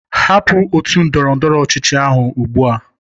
Hapụ otu ndọrọ ndọrọ ọchịchị ahu ugbu a!